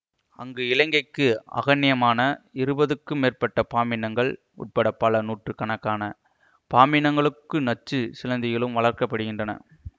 அங்கு இலங்கைக்கு அகணியமான இருபதுக்கு மேற்பட்ட பாம்பினங்கள் உட்பட பல நூற்று கணக்கான பாம்பினங்களுக்கு நச்சுச் சிலந்திகளும் வளர்க்க படுகின்றன